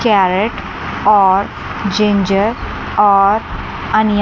carrot और ginger और onion --